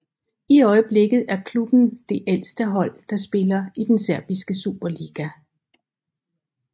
I øjeblikket er klubben det ældste hold der spiller i den serbiske superliga